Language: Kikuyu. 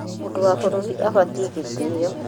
O mũndũ wa bũrũri abatiĩ gũtĩo.